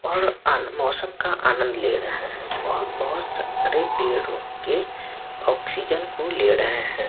और आ मौसम का आनंद ले रहे हैं और बहुत सारे पेड़ो के ऑक्सीजन को ले रहे हैं।